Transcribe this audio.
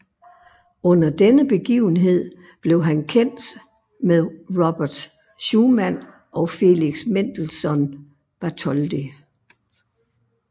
Under denne begivenhed blev han kendt med Robert Schumann og Felix Mendelssohn Bartholdy